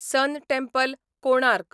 सन temple, Konark